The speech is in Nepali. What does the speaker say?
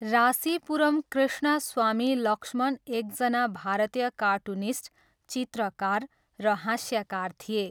रासीपुरम कृष्णस्वामी लक्ष्मण एकजना भारतीय कार्टुनिस्ट, चित्रकार, र हास्यकार थिए।